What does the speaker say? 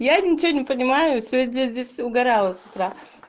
я ничего не понимаю сегодня здесь угорала с утра